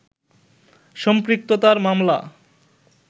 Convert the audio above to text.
সম্পৃক্ততার মামলা